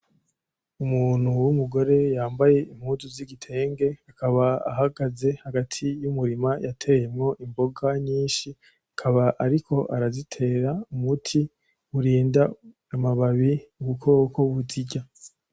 Umuntu w’umugore yambaye impuzu z’igitenge akaba ahagaze hagati y’umurima yateyemwo imboga nyishi akaba ariko arazitera umuti urinda amababi ubukoko buzirya.